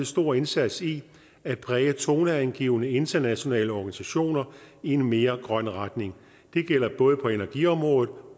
stor indsats i at præge toneangivende internationale organisationer i en mere grøn retning det gælder både på energiområdet